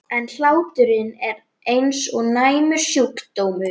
inginn er ein vinsælasta hetja samtímans.